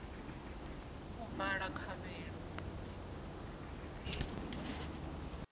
u vala khovhelo i ḓo